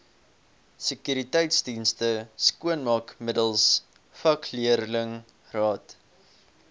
sekuriteitsdienste skoonmaakmiddels vakleerlingraad